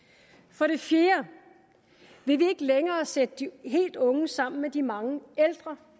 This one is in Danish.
for det fjerde vil vi ikke længere sætte de helt unge sammen med de mange ældre